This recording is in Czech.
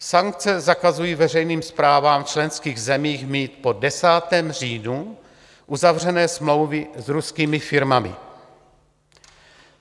Sankce zakazují veřejným správám v členských zemích mít po 10. říjnu uzavřené smlouvy s ruskými firmami.